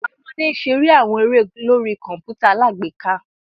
Awọn ọmọde n ṣere awọn ere lori kọǹpútà alágbèéká